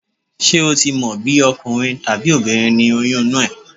Ṣé ò tí mọ̀ bí ọkùnrin tàbí obìnrin ni oyún inú ẹ?